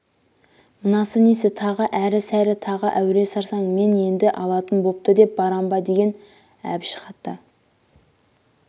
мынасы несі тағы әрі-сәрі тағы әуре-сарсаң мен енді алатын бопты деп барам ба деген әбіш хаты